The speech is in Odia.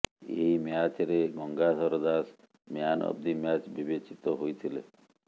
ଏହି ମ୍ୟାଚରେ Gangadhar Das man of the match ବିବେଚିତ ହୋଇଥିଲେ